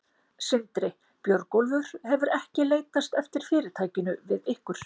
Sindri: Björgólfur hefur ekki leitast eftir fyrirtækinu við ykkur?